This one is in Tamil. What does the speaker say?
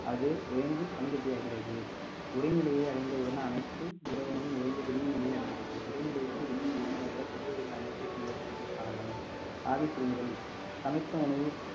அது உயர்ந்து பனிக்கட்டியாகிறது உறைநிலையை அடைந்தவுடன் அனைத்தும் திரவமும் உறைந்து திண்ம நிலையை அடைந்தது திரவ நிலையில் இருந்து திண்ம நிலைக்கு பின் வரும் படத்தில் காணலாம் ஆவி சிறுமுதல் சமைத்த உணவு